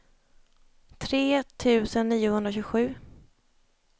tre tusen niohundratjugosju